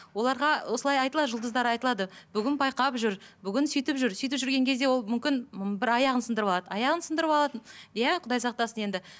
оларға осылай айтылады жұлдыздар айтылады бүгін байқап жүр бүгін сөйтіп жүр сөйтіп жүрген кезде ол мүмкін бір аяғын сындырып алады аяғын сындырып алады иә құдай сақтасын енді